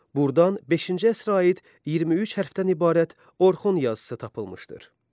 Buradan beşinci əsrə aid 23 hərfdən ibarət Orxon yazısı tapılmışdır.